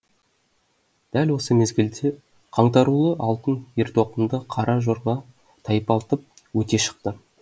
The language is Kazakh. дәл осы мезгілде қаңтарулы алтын ер тоқымды қара жорға тайпалтып өте шықты